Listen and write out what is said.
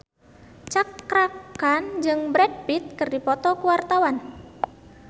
Cakra Khan jeung Brad Pitt keur dipoto ku wartawan